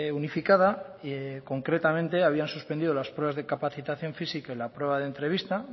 unificada y concretamente habían suspendido las pruebas de capacitación física y la prueba de entrevista